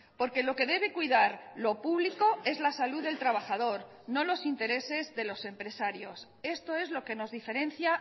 porque lo que debe cuidar lo público es la salud del trabajador no los intereses de los empresarios esto es lo que nos diferencia